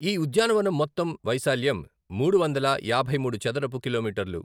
ఈ ఉద్యానవనం మొత్తం వైశాల్యం మూడు వందల యాభై మూడు చదరపు కిలోమీటర్లు.